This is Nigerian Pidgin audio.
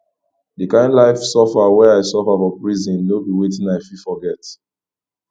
di kain life suffer wey i suffer for prison no be wetin i fit forget